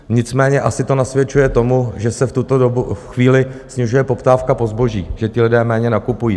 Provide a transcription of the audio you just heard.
Nicméně asi to nasvědčuje tomu, že se v tuto chvíli snižuje poptávka po zboží, že ti lidé méně nakupují.